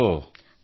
ಓಹೊ